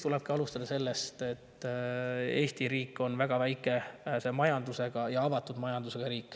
" Alustada tulebki sellest, et Eesti riik on väga väikese ja avatud majandusega.